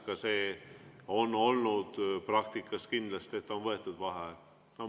Ka seda on olnud praktikas kindlasti, et siis on võetud vaheaeg.